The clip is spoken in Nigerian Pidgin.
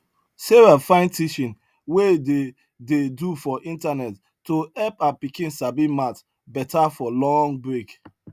sarah find teaching wey dey dey do for internet to help her pikin sabi math betta for long break